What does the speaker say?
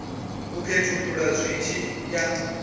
u khethulula zwi tshi ya